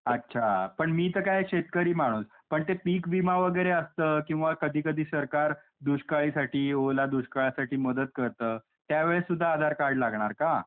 अच्छा. पण मी तर काही शेतकरी माणूस. पण ते पीक विमा वगैरे असतं किंवा कधी कधी सरकार दुष्काळीसाठी, ओला दुष्काळासाठी मदत करतं त्यावेळेस सुद्धा आधार कार्ड लागणार का?